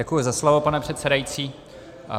Děkuji za slovo, pane předsedající.